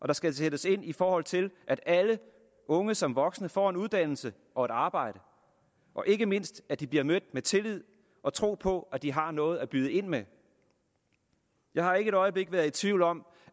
der skal sættes ind i forhold til at alle unge som voksne får en uddannelse og et arbejde og ikke mindst at de bliver mødt med tillid og tro på at de har noget at byde ind med jeg har ikke et øjeblik været i tvivl om